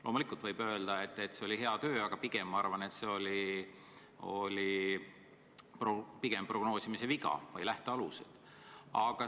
Loomulikult võib öelda, et see oli hea töö, aga pigem arvan ma, et see oli prognoosimise või lähtealuste viga.